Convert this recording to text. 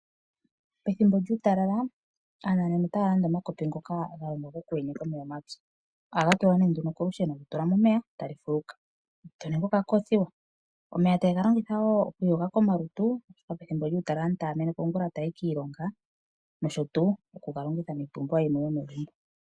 Pethimbo lyuutalala aananena otaya landa omakopi ngoka ga longwa gokuyenyeka omeya omapyu. Ohaga tulwa nduno kolusheno, to tula mo omeya go taga fuluka to ningi okakoothiwa. Omeya ohaye ga longitha wo okuiyoga komalutu pethimbo lyuutalala sho aantu taya meneka oongula oonene taya yi kiilonga noshowo okuga longitha miipumbiwa yimwe yomegumbo.